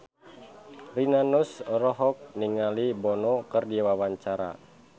Rina Nose olohok ningali Bono keur diwawancara